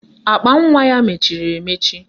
Akpanwa ya mechiri emechi